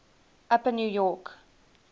upper new york